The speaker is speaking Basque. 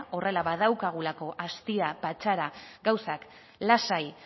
horrela badaukagulako astia patxada gauzak lasai